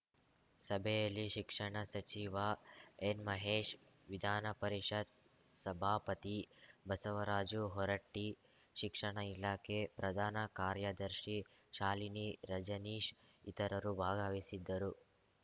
ಸಭೆಯಲ್ಲಿ ಶಿಕ್ಷಣ ಸಚಿವ ಎನ್‌ಮಹೇಶ್‌ ವಿಧಾನಪರಿಷತ್‌ ಸಭಾಪತಿ ಬಸವರಾಜು ಹೊರಟ್ಟಿ ಶಿಕ್ಷಣ ಇಲಾಖೆ ಪ್ರಧಾನ ಕಾರ್ಯದರ್ಶಿ ಶಾಲಿನಿ ರಜನೀಶ್‌ ಇತರರು ಭಾಗವಹಿಸಿದ್ದರು